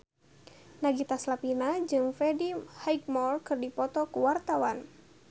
Nagita Slavina jeung Freddie Highmore keur dipoto ku wartawan